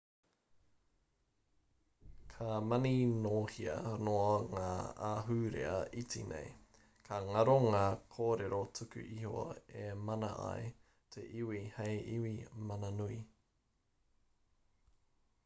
ka maninohea noa ngā ahurea iti nei ka ngaro ngā kōrero tuku iho e mana ai te iwi hei iwi mananui